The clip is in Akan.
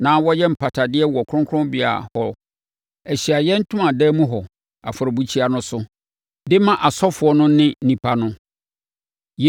na ɔyɛ mpatadeɛ wɔ kronkronbea hɔ wɔ Ahyiaeɛ Ntomadan mu hɔ, afɔrebukyia no so, de ma asɔfoɔ no ne nnipa no.